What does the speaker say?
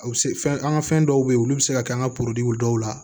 A bɛ se fɛn an ka fɛn dɔw bɛ ye olu bɛ se ka kɛ an ka dɔw la